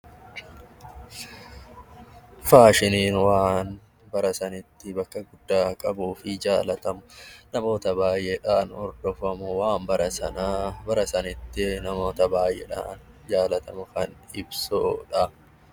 Faashiniin waan yeroo sanitti jaalatamu. Namoota baayyeedhaan hordofamu waan bara sanitti namoota baayyeedhaan jaalatamuu fa'aa ibsudha.